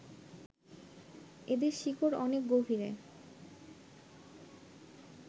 এদের শিকড় অনেক গভীরে